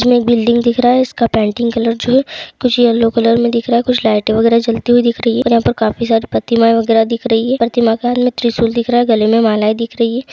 इसमें एक बिल्डिंग दिख रहा है इसका पेंटिंग कलर जो है कुछ येलो कलर मे दिख रहा है। कुछ लाइटे वगैरा जलती हुए दिख रही है और यहाँ पे काफी सारे प्रतिमाएँ वगैरा दिख रही हे। प्रतिमा के हाथ मे त्रिशूल दिख रहा है गले मे मालाऐं दिख रही है।